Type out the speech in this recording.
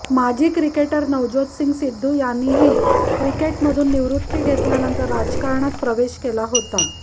माजी किक्रेटर नवज्योत सिंग सिद्धू यांनीही क्रिकेटमधून निवृत्ती घेतल्यानंतर राजकारणात प्रवेश केला होता